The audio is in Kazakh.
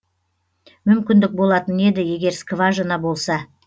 мүмкіндік болатын еді егер скважина болса